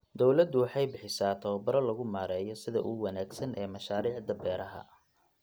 Dawladdu waxay bixisaa tababaro lagu maareeyo sida ugu wanaagsan ee mashaariicda beeraha.